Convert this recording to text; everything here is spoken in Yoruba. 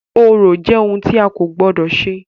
Orò jẹ́ ohun tì a kò gbọdọ̀ ṣe.